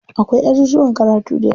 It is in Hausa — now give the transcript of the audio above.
Akwai ajujuwan karatu dayawa.